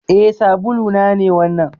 Eh. sabulu na ne wannan.